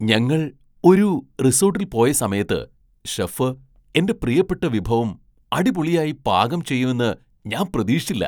ഞങ്ങൾ ഒരു റിസോട്ടിൽ പോയ സമയത്ത് ഷെഫ് എന്റെ പ്രിയപ്പെട്ട വിഭവം അടിപൊളിയായി പാകം ചെയ്യുമെന്ന് ഞാൻ പ്രതീക്ഷിച്ചില്ല.